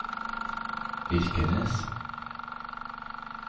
Birkenes